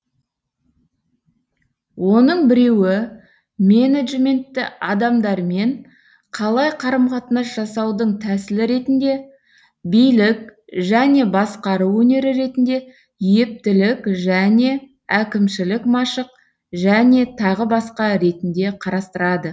оның біреуі менеджментті адамдармен қалай қарым қатынас жасаудың тәсілі ретінде билік және басқару өнері ретінде ептілік және әкімшілік машық және тағы басқа ретінде қарастырады